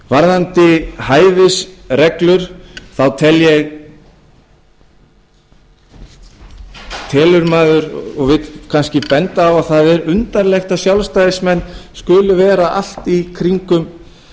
varðandi hæfisreglur þá telur maður og vill kannski benda á að það er undarlegt að sjálfstæðismenn skuli vera allt í kringum